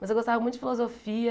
Mas eu gostava muito de filosofia.